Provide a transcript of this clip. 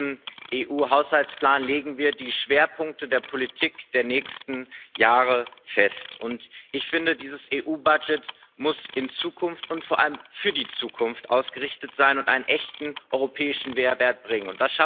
Denn mit diesem EU Finanzrahmen legen wir die Schwerpunkte der Politik der nächsten Jahre fest. Ich finde, dieses EU Budget muss in die Zukunft und vor allem für die Zukunft ausgerichtet sein und einen echten europäischen Mehrwert bringen.